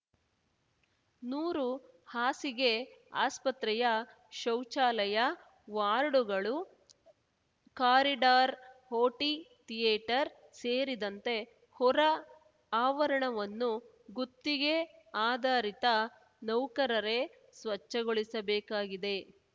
ನೂರು ಹಾಸಿಗೆ ಆಸ್ಪತ್ರೆಯ ಶೌಚಾಲಯ ವಾರ್ಡುಗಳು ಕಾರಿಡಾರ್‌ ಓಟಿ ಥಿಯೇಟರ್‌ ಸೇರಿದಂತೆ ಹೊರ ಆವರಣವನ್ನು ಗುತ್ತಿಗೆ ಆಧಾರಿತ ನೌಕರರೇ ಸ್ವಚ್ಛಗೊಳಿಸಬೇಕಾಗಿದೆ